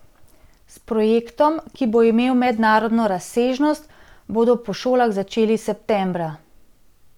S projektom, ki bo imel mednarodno razsežnost, bodo po šolah začeli septembra.